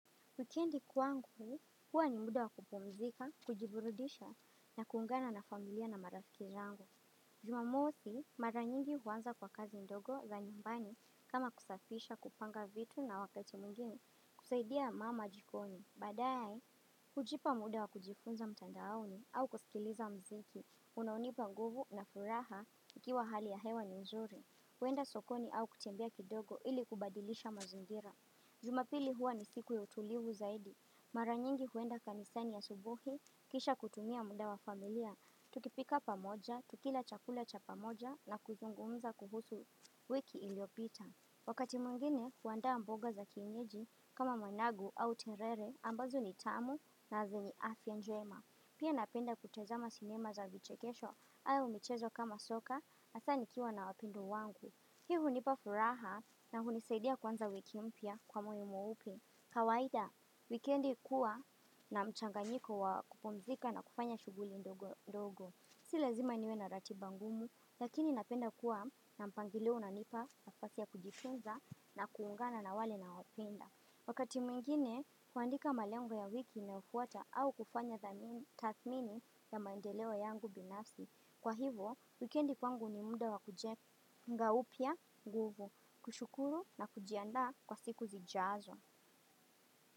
Wikendi kwangu, huwa ni muda wa kupumzika, kujiburudisha na kuungana na familia na marafiki zangu. Jumamosi, mara nyingi huanza kwa kazi ndogo za nyumbani kama kusafisha, kupanga vitu na wakati mwingine kusaidia mama jikoni. Baadae, hujipa muda wa kujifunza mtandaoni au kusikiliza muziki, unaounipa nguvu na furaha ikiwa hali ya hewa ni nzuri. Huenda sokoni au kutembia kidogo ili kubadilisha mazingira. Jumapili huwa ni siku ya utulivu zaidi. Mara nyingi huenda kanisani asubuhi, kisha kutumia muda wa familia, tukipika pamoja, tukila chakula cha pamoja na kuzungumza kuhusu wiki iliopita. Wakati mwingine, huandaa mboga za kienyeji kama managu au terere ambazo ni tamu na zenye afya njema. Pia napenda kutazama sinema za vichekesho au michezo kama soka hasa nikiwa na wapendwa wangu. Hii hunipa furaha na hunisaidia kuanza wiki mpya kwa moyo mweupe. Kawaida, wikendi huwa na mchanganyiko wa kupumzika na kufanya shughuli ndogo ndogo. Si lazima niwe na ratiba ngumu, lakini napenda kuwa na mpangilio unanipa nafasi ya kujitunza na kuungana na wale na wapenda. Wakati mwingine huandika malango ya wiki inayofuata au kufanya tathmini ya mandeleo yangu binafsi. Kwa hivo, wikendi kwangu ni muda wa kujenga upya nguvu, kushukuru na kujiandaa kwa siku zijazo.